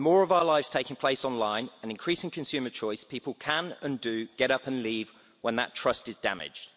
With more of our lives taking place online and increasing consumer choice, people can, and do, get up and leave when that trust is damaged.